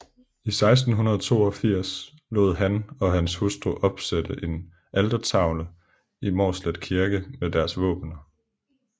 I 1682 lod han og hans hustru opsætte en altertavle i Mårslet Kirke med deres våbener